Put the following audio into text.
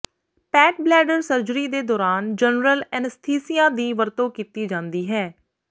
pet bladder surgery ਦੇ ਦੌਰਾਨ general anaesthesia ਦੀ ਵਰਤੋਂ ਕੀਤੀ ਜਾਂਦੀ ਹੈ